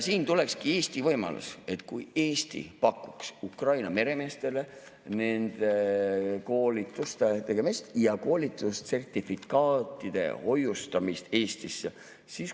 Siin tulekski Eesti võimalus, kui Eesti pakuks Ukraina meremeestele nende koolituste tegemist ja koolitussertifikaatide hoiustamist Eestis.